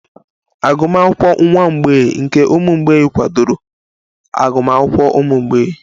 Agụmakwụkwọ nwa mgbei nke ụmụ mgbei kwadoro agụmakwụkwọ ụmụ mgbei?